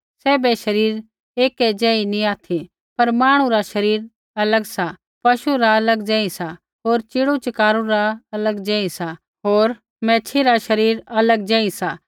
सैभै शरीर ऐकै ज़ेही नी ऑथि पर मांहणु रा शरीर अलग सा पशु रा अलग ज़ेही सा होर च़ीड़ू च़कारू रा अलग ज़ेही सा होर मैच्छ़ी रा शरीर अलग ज़ेही सा